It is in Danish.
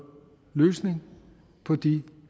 løsninger på de